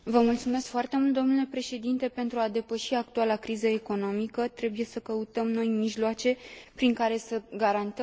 Pentru a depăși actuala criză economică trebuie să căutăm noi mijloace prin care să garantăm dezvoltarea și progresul.